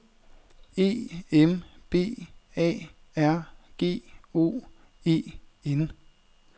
E M B A R G O E N